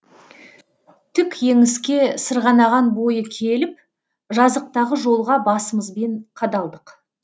тік еңіске сырғанаған бойы келіп жазықтағы жолға басымызбен қадалдық